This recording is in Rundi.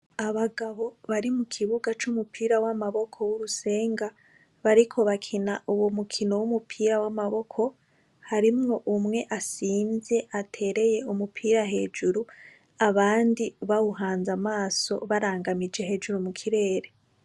Abagabo bari mu kibuga c'umukino w'amaboko wurusenga bariko bakina uwo mukino wamaboko harimwo umwe asimvye atereye umupira hejuru abandi bawuhanze amaso barangamije hejuru mu kirere.